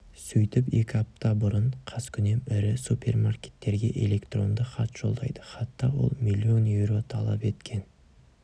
сөйтіп екі апта бұрын қаскүнем ірі супермаркеттерге электронды хат жолдайды хатта ол миллион еуро талап еткен